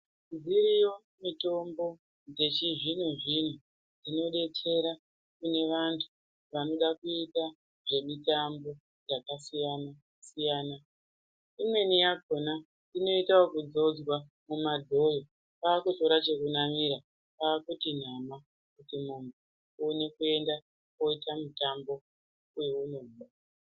Dziriyo mitombo dzechizvino-zvino dzinodetsera kune vantu vanoda kuita zvemitambo yakasiyana-siyana. Imweni yakhona inoita okudzodzwa mumadhoyo kwaakukutora chekunamira kwaakuti nama, kuti munhu woenda koita mutambo weunoda.